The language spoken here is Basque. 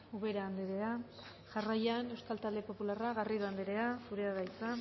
ubera andrea jarraian euskal talde popularra garrido andrea zurea da hitza